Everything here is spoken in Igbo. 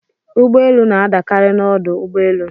Ụgbọelu na-adakarị n'ọdụ ụgbọelu.